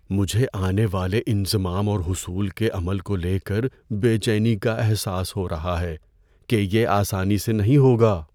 مجھے آنے والے انضمام اور حصول کے عمل کو لے کر بے چینی کا احساس ہو رہا ہے کہ یہ آسانی سے نہیں ہوگا۔